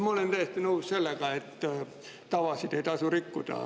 Ma olen täiesti nõus sellega, et tavasid ei tasu rikkuda.